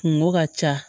Kungo ka ca